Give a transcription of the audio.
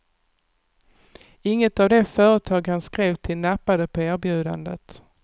Inget av de företag han skrev till nappade på erbjudandet.